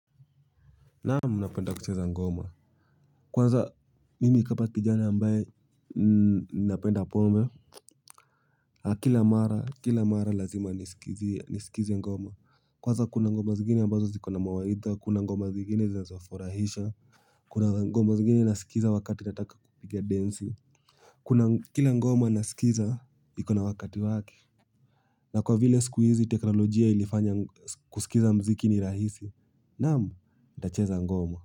Naamu napenda kucheza ngoma. Kwanza mimi kapa kijana ambaye napenda pombe kila mara kila mara lazima nisikize ngoma. Kwanza kuna ngoma zingine ambazo zikona mawaidha. Kuna ngoma zingine zazofurahisha. Kuna ngoma zingine nasikiza wakati nataka kupiga densi. Kuna kila ngoma nasikiza iko na wakati waki. Na kwa vile sikuizi teknolojia ilifanya kusikiza mziki ni rahisi. Naamu napenda kucheza ngoma. Kwa hivyo.